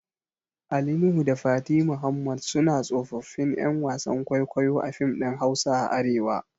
Ali Nuhu da Fati Muhammad suna tsofaffin ƴan wasan kwaikwayo a fim ɗin Hausa a arewa